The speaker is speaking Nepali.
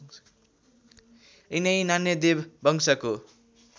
यिनै नान्यदेव वंशको